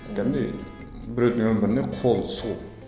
кәдімгідей біреудің өміріне қол сұғу